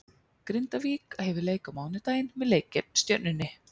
Grindavík hefur leik á mánudaginn með leik gegn Stjörnunni.